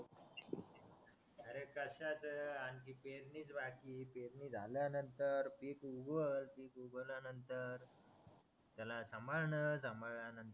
अरे कशाचं आणखी पेरणीच बाकी पेरणी झाल्यानंतर पिक उगवल पिक उगवल्यानंतर त्याला सांभाळणार सांभाळल्यानंतर